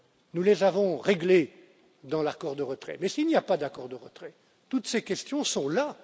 Nous les avons réglées dans l'accord de retrait, mais s'il n'y a pas d'accord de retrait, toutes ces questions sont là.